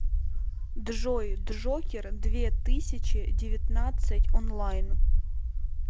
джой джокер две тысячи девятнадцать онлайн